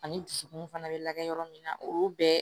Ani dusukun fana bɛ lagɛ yɔrɔ min na olu bɛɛ